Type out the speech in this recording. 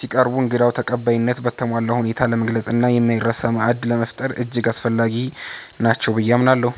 ሲቀርቡ እንግዳ ተቀባይነትን በተሟላ ሁኔታ ለመግለጽና የማይረሳ ማዕድ ለመፍጠር እጅግ አስፈላጊ ናቸው ብዬ አምናለሁ።